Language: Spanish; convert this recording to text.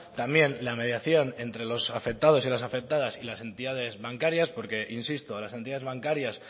también la mediación entre los afectados y las afectadas y las entidades bancarias porque insisto a las entidades bancarias